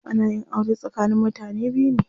Ana yin aure tsakanin mutane biyu ne.